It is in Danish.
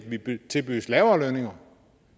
tilbydes lavere lønninger